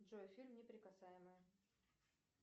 джой эфир неприкасаемые